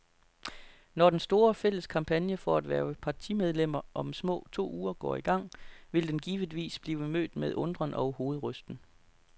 Når den store, fælles kampagne for at hverve partimedlemmer om små to uger går i gang, vil den givetvis blive mødt med undren og hovedrysten.